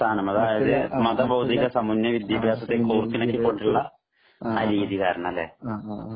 അതായത് മത ഭൗതിക സമന്വയ വിദ്യാഭ്യാസം കോർത്തിണക്കി കൊണ്ടുള്ള ആ രീതി കാരണം അല്ലെ